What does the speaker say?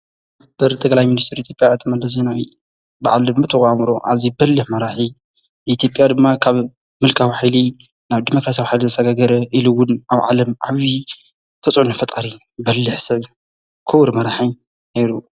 በር ተ ገላይ ምንስቱር ቲጵኣ እተ መደሲናዊ ብዓል ምተዋሙሮ ዓዚይ በልህ መራሒ ቲጴያ ድማ ኻብ ምልካ ውሒሊ ናብ ዲሞከርስውሐል ዘሰገገረ ኢሉውን ኣብ ዓለም ዓይዪ ተፁዑኒ ፈጣሪ በልሕሰብ ክቡሪ መራሒይ ነይሩ።